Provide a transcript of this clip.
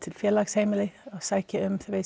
félagsheimili að sækja um